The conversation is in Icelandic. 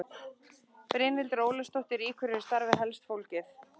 Brynhildur Ólafsdóttir: Í hverju er starfið helst fólgið?